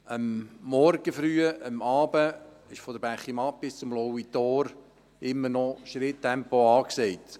Am Morgen früh und am Abend ist von der Bächimatt bis zum Lauitor meistens immer noch Schritttempo angesagt.